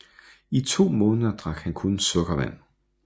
I to måneder drak han kun sukkervand